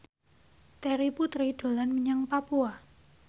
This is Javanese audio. Terry Putri dolan menyang Papua